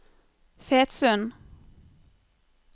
Fetsund